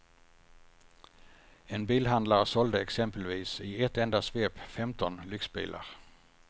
En bilhandlare sålde exempelvis i ett enda svep femton lyxbilar.